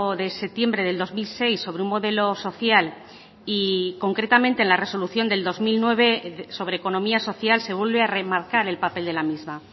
de septiembre del dos mil seis sobre un modelo social y concretamente en la resolución del dos mil nueve sobre economía social se vuelve a remarcar el papel de la misma